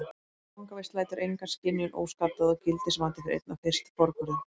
Fangavist lætur enga skynjun óskaddaða og gildismatið fer einna fyrst forgörðum.